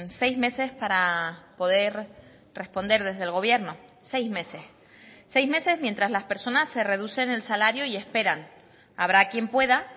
seis meses para poder responder desde el gobierno seis meses seis meses mientras las personas se reducen el salario y esperan habrá quien pueda